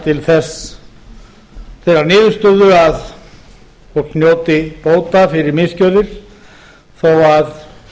til þeirrar niðurstöðu að fólk njóti bóta fyrir misgjörðir þó að